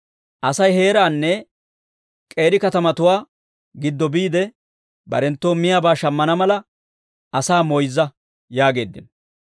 asay heeraanne k'eeri katamatuwaa giddo biide, barenttoo miyaabaa shammana mala, asaa moyzza» yaageeddino.